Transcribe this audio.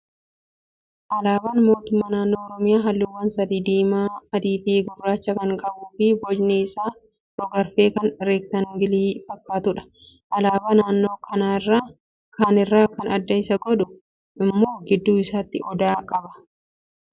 Alaabaan mootummaa naannoo Oromiyaa halluuwwan sadii diimaa, adii fi gurraacha kan qabuu fi bocni isaa rog-arfee kan reektaangilii fakkaatudha. Alaabaa naannoo kaaniirraa kan adda isa godhu immoo gidduu isaatti odaa qaba.